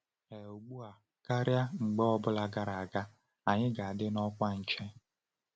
“Ee, ugbu a karịa mgbe ọ bụla gara aga, anyị ga-adị n’ọkwa nche!”